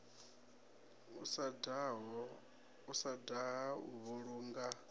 u sa daha u vhulunga